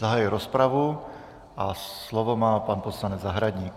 Zahajuji rozpravu a slovo má pan poslanec Zahradník.